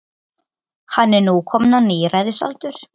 Hann er nú kominn á níræðisaldur.